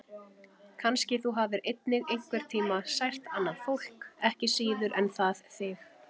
Kannski þú hafir einnig einhvern tíma sært annað fólk, ekki síður en það þig.